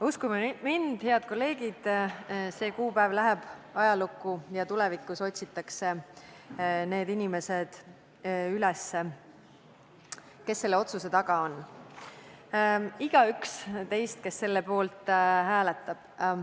Uskuge mind, head kolleegid, see kuupäev läheb ajalukku ja tulevikus otsitakse need inimesed üles, kes selle otsuse taga on, igaüks teist, kes selle poolt hääletab.